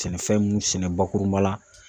Sɛnɛfɛn mun sɛnɛ bakurunba la.